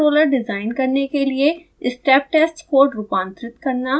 proportional controller design करने के लिए स्टेप टेस्ट कोड रूपांतरित करना